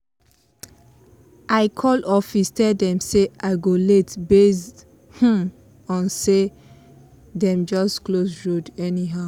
i call office tell them say i go late based um on say dem just close road anyhow